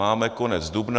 Máme konec dubna.